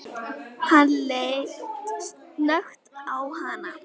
Hann leit snöggt á hana.